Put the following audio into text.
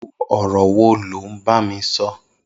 Irù ọrọ wó ló n bámí sọ